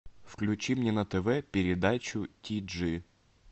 включи мне на тв передачу ти джи